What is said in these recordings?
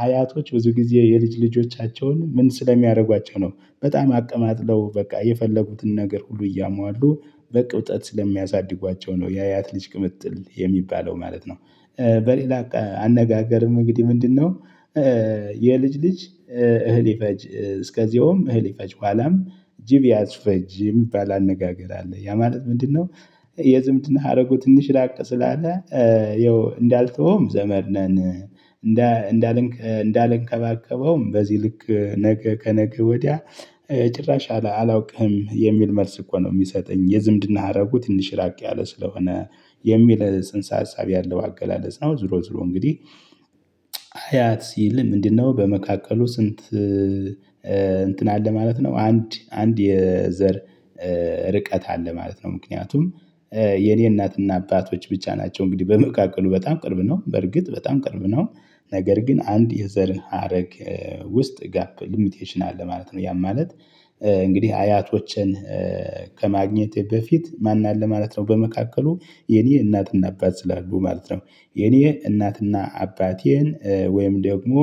አያቶች ብዙ ጊዜ የልጅ ልጆቻቸውን ምን ስለሚያደርጓቸው ነው በጣም አቀማጥለው በቃ የፈለጉትን ነገር ሁሉ እያሟሉ በቅብጠት ስለሚያሳድጓቸው ነው የአያት ልጅ ቅምጥል የሚባለው ማለት ነው። በሌላ አነጋገርም እንግዲህ ምንድነው? የልጅ ልጅ እህል ይፈጅ እስከዚያውም እህል ይፈጅ በኋላም ጅብ ያስፈጅ የሚባል አነጋገር አለ። ያ ማለት ምንድነው? የዝምድና ሀረጉ ትንሽ ራቅ ስላለ ያው እንዳልተውም ዘመድ ነን። እንዳልን እንዳልንከባከበውም በዚህ ልክ ነገ ከነገ ወዲያ ጭራሽ አላውቅህም የሚል መልስ እኮ ነው። ሚሰጠኝ የዝምድና ሀረጉ ትንሽ ራቅ ያለ ስለሆነ የሚል ጽንሰ ሀሳብ ያለው አገላለጽ ነው። ዝሮ ዝሮ እንግዲህ አያት ሲል ምንድነው? በመካከሉ ስንት እንትን አለ ማለት ነው። አንድ አንድ የዘር ርቀት አለ ማለት ነው። ምክንያቱም የኔ እናትና አባቶች ብቻ ናቸው እንግዲህ በመካከሉ በጣም ቅርብ ነው በርግጥ በጣም ቅርብ ነው። ነገር ግን አንድ የዘርን ሀረግ ውስጥ ጋፕ ሊሚቴሽን አለ ማለት ነው። ያ ማለት እንግዲህ አያቶቼን ከማግኘቴ በፊት ማን አለ ማለት ነው። በመካከሉ የኔ እናትና አባት ስላሉ ማለት ነው። የኔ እናትና አባቴን ወይም ደግሞ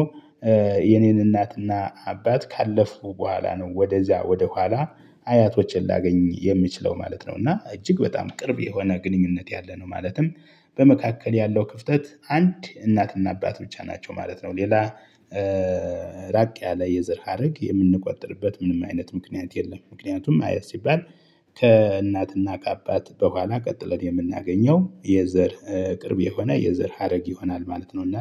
የኔን እናትና አባት ካለፉ በኋላ ነው ወደዚያ ወደኋላ አያቶቼን ላገኝ የሚችለው ማለት ነው። እና እጅግ በጣም ቅርብ የሆነ ግንኙነት ያለ ነው ማለትም በመካከል ያለው ክፍተት አንድ እናትና አባት ብቻ ናቸው ማለት ነው። ሌላ ራቅ ያለ የዘር ሀረግ የምንቆጠርበት ምንም አይነት ምክንያት የለም። ምክንያቱም ማየት ሲባል ከእናትና ከአባት በኋላ ቀጥለን የምናገኘው የዘር ቅርብ የሆነ የዘር ሀረግ ይሆናል ማለት ነው። እና